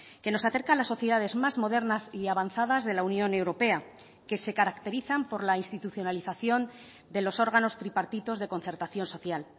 que nos acerca a las sociedades más modernas y avanzadas de la unión europea que se caracterizan por la institucionalización de los órganos tripartitos de concertación social